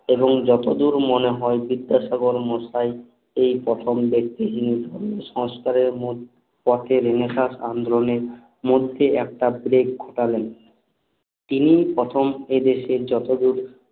এবং যতদূর মনে হয় বিদ্যাসাগর মশাই এই প্রথম ব্যাক্তি যিনি সংস্কারের মূল পথে রেনেসাঁস আন্দোলন এর মধ্যে একটা বেগ ঘটালেন তিনি প্রথম এ দেশের যতদূর